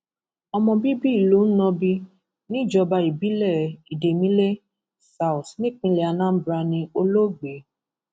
ọmọ bíbí ìlú nnobi níjọba ìbílẹ idemmile south nípínlẹ anambra ní olóògbé